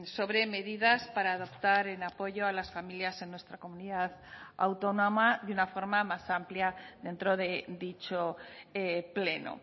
sobre medidas para adoptar en apoyo a las familias en nuestra comunidad autónoma de una forma más amplia dentro de dicho pleno